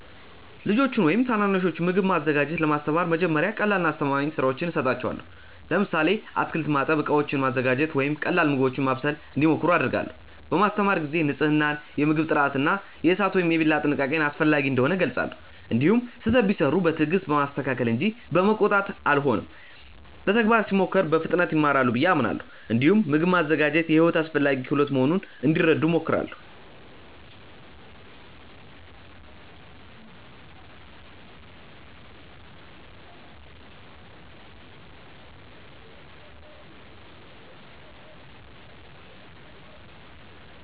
ልጆችን ወይም ታናናሾችን ምግብ ማዘጋጀት ለማስተማር መጀመሪያ ቀላልና አስተማማኝ ሥራዎችን እሰጣቸዋለሁ። ለምሳሌ አትክልት ማጠብ፣ ዕቃዎችን ማዘጋጀት ወይም ቀላል ምግቦችን ማብሰል እንዲሞክሩ አደርጋለሁ። በማስተማር ጊዜ ንፅህናን፣ የምግብ ጥራትን እና የእሳት ወይም የቢላ ጥንቃቄን አስፈላጊ እንደሆኑ እገልጻለሁ። እንዲሁም ስህተት ቢሠሩ በትዕግስት በማስተካከል እንጂ በመቆጣት አልሆንም። በተግባር ሲሞክሩ በፍጥነት ይማራሉ ብዬ አምናለሁ። እንዲሁም ምግብ ማዘጋጀት የሕይወት አስፈላጊ ክህሎት መሆኑን እንዲረዱ እሞክራለሁ።